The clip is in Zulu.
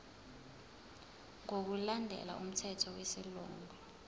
ngokulandela umthetho wesilungu